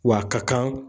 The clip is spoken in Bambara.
W'a ka kan